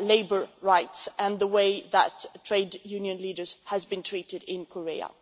labour rights and the way that trade union leaders have been treated in Korea.